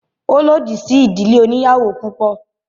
Ó lòdì sí ìdílé oníyàwò púpọ̀.